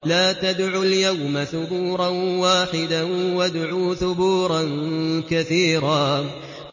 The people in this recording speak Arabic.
لَّا تَدْعُوا الْيَوْمَ ثُبُورًا وَاحِدًا وَادْعُوا ثُبُورًا كَثِيرًا